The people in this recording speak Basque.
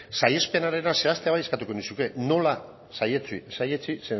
saihespenarena zehaztea bai eskatuko nizuke nola saihetsi